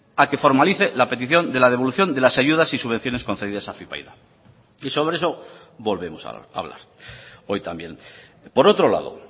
a que formalice la petición de la devolución de las ayudas y subvenciones concedidas a afypaida y sobre eso volvemos hablar hoy también por otro lado